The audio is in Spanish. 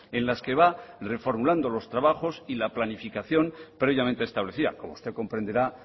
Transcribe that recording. en las que va reformulando los trabajos y la planificación previamente establecida como usted comprenderá